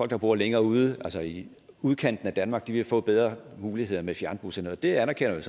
der bor længere ude altså i udkanten af danmark vil få bedre muligheder med fjernbusserne og det anerkender jeg